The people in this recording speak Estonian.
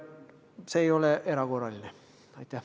See ei midagi erakordset.